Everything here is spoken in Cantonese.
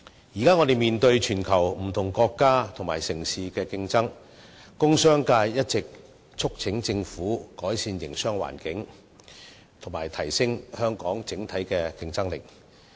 現時，我們面對全球不同國家和城市的競爭，工商界一直促請政府改善營商環境，以及提升香港整體競爭力。